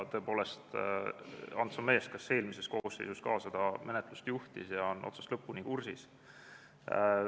Tõepoolest, Ants on mees, kes eelmises koosseisus seda menetlust juhtis ja on asjaga otsast lõpuni kursis.